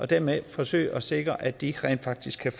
dermed vil forsøge at sikre at de rent faktisk kan